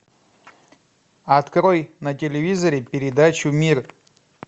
открой на телевизоре передачу мир